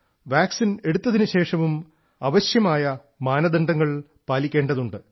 vaccine എടുത്തതിനു ശേഷവും ആവശ്യമായ മാനദണ്ഡങ്ങൾ പാലിക്കേണ്ടതുണ്ട്